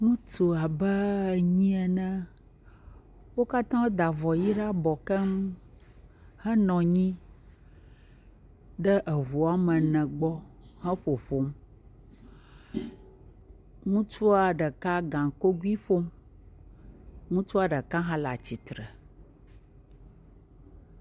ŋutsu abe enyi ene wókatã da avɔ yi ɖa'bɔ keŋ he nɔnyi ɖe eʋu wɔmene gbɔ he ƒoƒom ŋutsua ɖeka gaŋkogui ƒom ŋutsua ɖeka hã la'tsitre